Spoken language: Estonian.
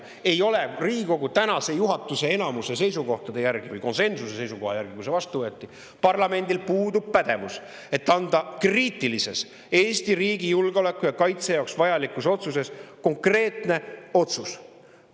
Riigikogu tänase juhatuse enamuse seisukoha järgi või konsensusliku seisukoha järgi, kui see vastu võeti, puudub seadusandjal pädevus anda Eesti riigi julgeoleku ja kaitse jaoks vajalikus ja kriitilises konkreetne!